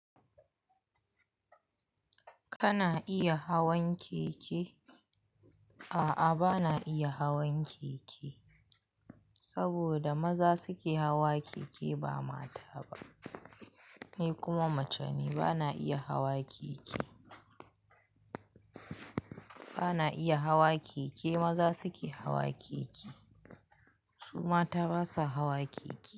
Kana iya hawan keke? A'a, bana iya hawan keke, saboda maza suke hawa keke ba mata ba. Ni kuma maceni bana iya hawa keke. Bana iya hawa keke, maza suke hawa keke, su mata basa hawa keke.